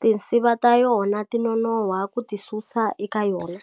tinsiva ta yona ti nonoha ku ti susa eka yona.